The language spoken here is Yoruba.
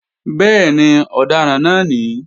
Bẹ́ẹ̀ni, ọ̀daràn náà ní